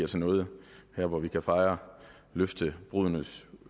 til noget her hvor vi kan fejre løftebruddenes